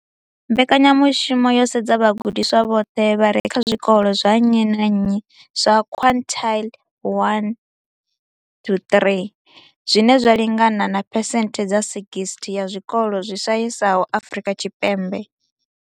Mbekanyamushumo yo sedza vhagudiswa vhoṱhe vha re kha zwikolo zwa nnyi na nnyi zwa quintile 1-3, zwine zwa lingana na phesenthe dza 60 ya zwikolo zwi shayesaho Afrika Tshipembe.